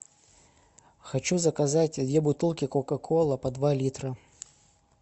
хочу заказать две бутылки кока кола по два литра